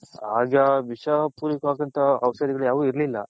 ಆಗ ಔಷದಿಗಳು ಯಾವು ಇರಲಿಲ್ಲ.